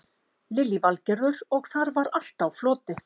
Lillý Valgerður: Og þar var allt á floti?